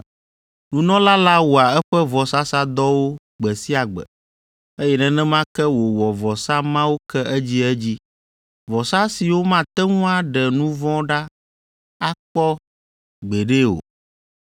Nunɔla la wɔa eƒe vɔsasadɔwo gbe sia gbe, eye nenema ke wòwɔ vɔsa mawo ke edziedzi, vɔsa siwo mate ŋu aɖe nu vɔ̃ ɖa akpɔ gbeɖe o.